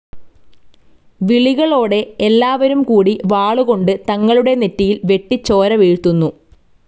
വിളികളോടെ എല്ലാവരും കൂടി വാളുകൊണ്ട് തങ്ങളുടെ നെറ്റിയിൽ വെട്ടി ചോരവീഴ്ത്തുന്നു.